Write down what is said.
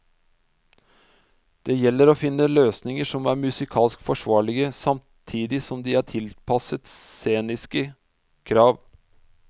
Det gjelder å finne løsninger som er musikalsk forsvarlige, samtidig som de er tilpasset sceniske krav.